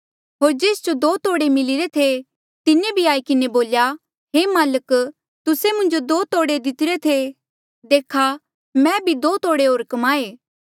होर जेस जो दो तोड़े मिलिरे थे तिन्हें भी आई किन्हें बोल्या हे माल्क तुस्से मुंजो दो तोड़े दितरे थे देखा मैं भी दो तोड़े होर कमाए